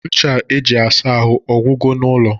Ncha eji asa ahụ agwugo n'ụlọ?